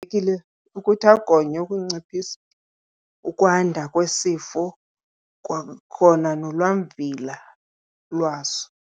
Kubalulekile ukuthi agonywe ukunciphisa ukwanda kwesifo kwakhona nolwamvila lwaso.